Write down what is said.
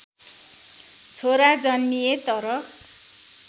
छोरा जन्मिए तर